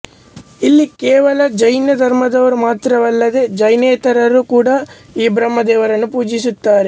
ಇಲ್ಲಿ ಕೇವಲ ಜೈನ ಧರ್ಮದವರು ಮಾತ್ರವಲ್ಲದೆ ಜೈನೇತರರು ಕೂಡ ಈ ಬ್ರಹ್ಮ ದೇವರನ್ನು ಪೂಜಿಸುತ್ತಾರೆ